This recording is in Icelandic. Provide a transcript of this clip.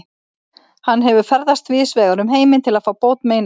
Hann hefur ferðast víðsvegar um heiminn til að fá bót meina sinna.